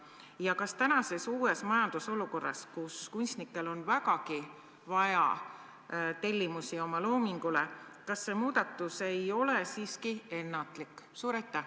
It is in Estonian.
Ja kas tänases uues majandusolukorras, kus kunstnikel on vägagi vaja nende loomingu tellimusi, ei ole see muudatus siiski ennatlik?